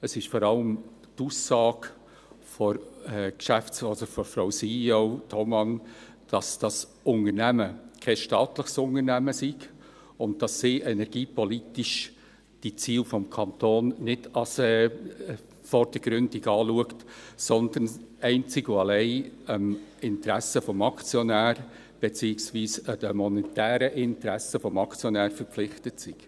Es ist vor allem die Aussage von Frau CEO Thoma, dass das Unternehmen kein staatliches Unternehmen sei und dass sie energiepolitisch die Ziele des Kantons nicht als vordergründig anschaut, sondern einzig und allein dem Interesse des Aktionärs, beziehungsweise den monetären Interessen des Aktionärs verpflichtet sei.